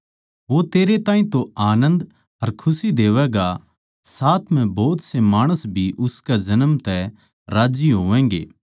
वो तेरे ताहीं तो आनन्द अर खुशी देवैएगा साथ म्ह भोत से माणस भी उसकै जन्म तै राज्जी होवैगें